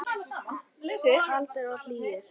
Kaldir og hlýir.